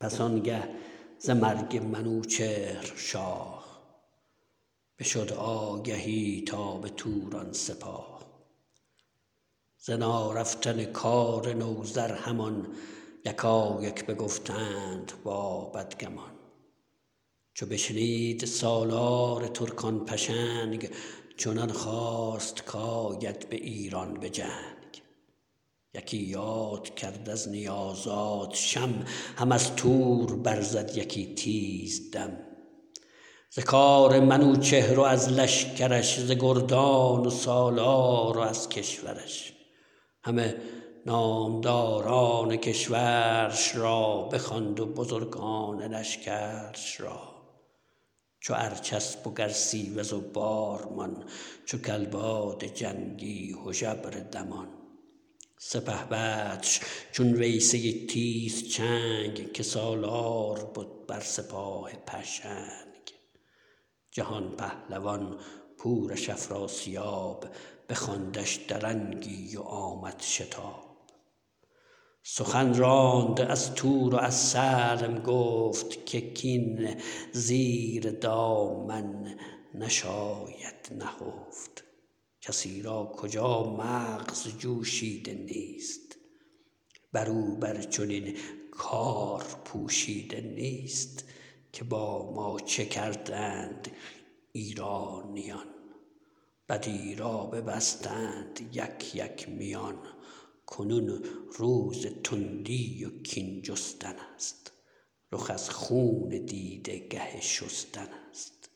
پس آنگه ز مرگ منوچهر شاه بشد آگهی تا به توران سپاه ز نارفتن کار نوذر همان یکایک بگفتند با بدگمان چو بشنید سالار ترکان پشنگ چنان خواست کاید به ایران به جنگ یکی یاد کرد از نیا زادشم هم از تور بر زد یکی تیز دم ز کار منوچهر و از لشکرش ز گردان و سالار و از کشورش همه نامداران کشورش را بخواند و بزرگان لشکرش را چو ارجسپ و گرسیوز و بارمان چو کلباد جنگی هژبر دمان سپهبدش چون ویسه تیزچنگ که سالار بد بر سپاه پشنگ جهان پهلوان پورش افراسیاب بخواندش درنگی و آمد شتاب سخن راند از تور و از سلم گفت که کین زیر دامن نشاید نهفت کسی را کجا مغز جوشیده نیست برو بر چنین کار پوشیده نیست که با ما چه کردند ایرانیان بدی را ببستند یک یک میان کنون روز تندی و کین جستنست رخ از خون دیده گه شستنست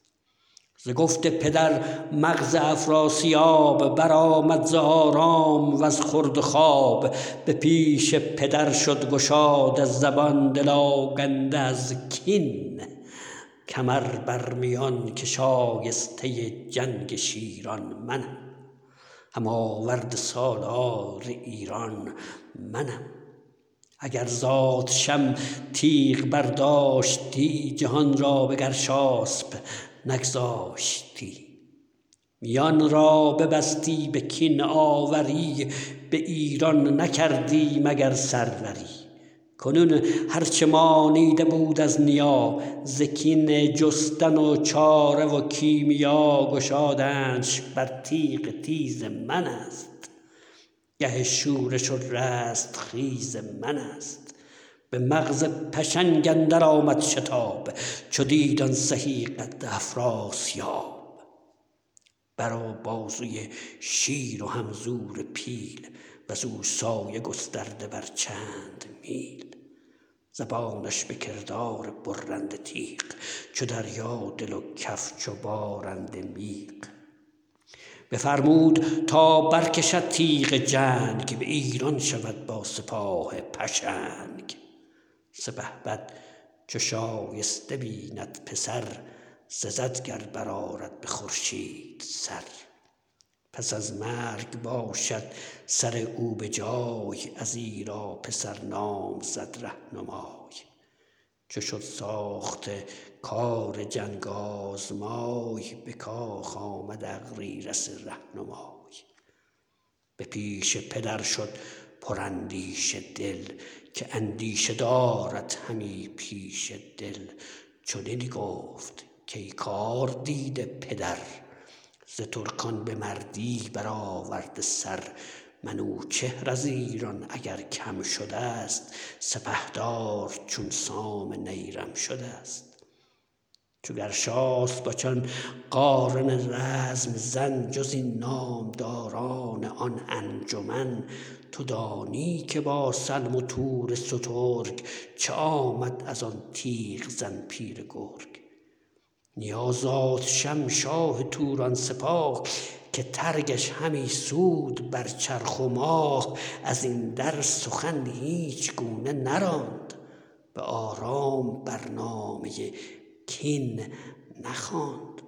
ز گفت پدر مغز افراسیاب برآمد ز آرام وز خورد و خواب به پیش پدر شد گشاده زبان دل آگنده از کین کمر برمیان که شایسته جنگ شیران منم هم آورد سالار ایران منم اگر زادشم تیغ برداشتی جهان را به گرشاسپ نگذاشتی میان را ببستی به کین آوری بایران نکردی مگر سروری کنون هرچه مانیده بود از نیا ز کین جستن و چاره و کیمیا گشادنش بر تیغ تیز منست گه شورش و رستخیز منست به مغز پشنگ اندر آمد شتاب چو دید آن سهی قد افراسیاب بر و بازوی شیر و هم زور پیل وزو سایه گسترده بر چند میل زبانش به کردار برنده تیغ چو دریا دل و کف چو بارنده میغ بفرمود تا برکشد تیغ جنگ به ایران شود با سپاه پشنگ سپهبد چو شایسته بیند پسر سزد گر برآرد به خورشید سر پس از مرگ باشد سر او به جای ازیرا پسر نام زد رهنمای چو شد ساخته کار جنگ آزمای به کاخ آمد اغریرث رهنمای به پیش پدر شد پراندیشه دل که اندیشه دارد همی پیشه دل چنین گفت کای کار دیده پدر ز ترکان به مردی برآورده سر منوچهر از ایران اگر کم شدست سپهدار چون سام نیرم شدست چو گرشاسپ و چون قارن رزم زن جز این نامداران آن انجمن تو دانی که با سلم و تور سترگ چه آمد ازان تیغ زن پیر گرگ نیا زادشم شاه توران سپاه که ترگش همی سود بر چرخ و ماه ازین در سخن هیچ گونه نراند به آرام بر نامه کین نخواند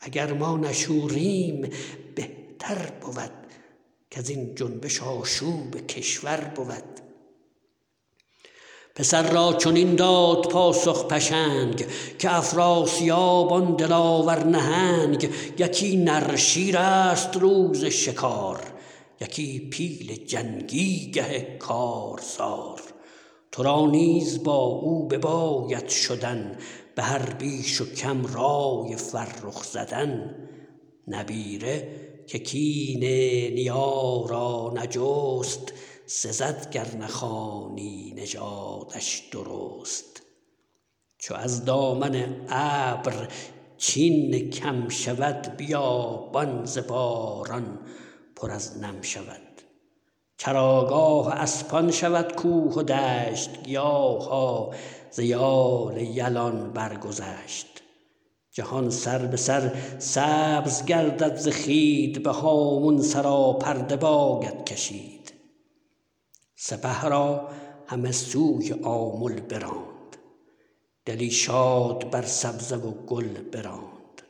اگر ما نشوریم بهتر بود کزین جنبش آشوب کشور بود پسر را چنین داد پاسخ پشنگ که افراسیاب آن دلاور نهنگ یکی نره شیرست روز شکار یکی پیل جنگی گه کارزار ترا نیز با او بباید شدن به هر بیش و کم رای فرخ زدن نبیره که کین نیا را نجست سزد گر نخوانی نژادش درست چو از دامن ابر چین کم شود بیابان ز باران پر از نم شود چراگاه اسپان شود کوه و دشت گیاها ز یال یلان برگذشت جهان سر به سر سبز گردد ز خوید به هامون سراپرده باید کشید سپه را همه سوی آمل براند دلی شاد بر سبزه و گل براند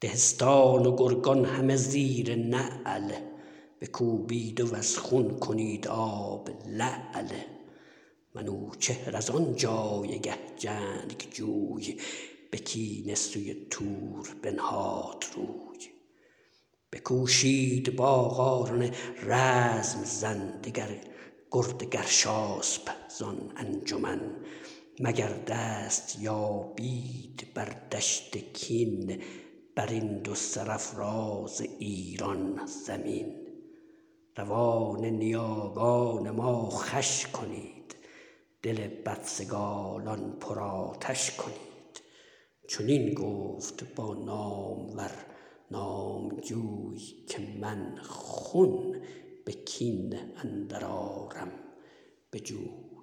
دهستان و گرگان همه زیر نعل بکوبید وز خون کنید آب لعل منوچهر از آن جایگه جنگجوی به کینه سوی تور بنهاد روی بکوشید با قارن رزم زن دگر گرد گرشاسپ زان انجمن مگر دست یابید بر دشت کین برین دو سرافراز ایران زمین روان نیاگان ما خوش کنید دل بدسگالان پرآتش کنید چنین گفت با نامور نامجوی که من خون به کین اندر آرم به جوی